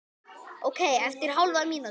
Ókei eftir hálfa mínútu.